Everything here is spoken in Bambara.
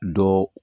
Dɔ